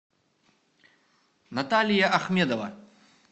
наталья ахмедова